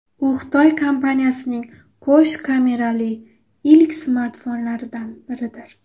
U Xitoy kompaniyasining qo‘sh kamerali ilk smartfonlaridan biridir.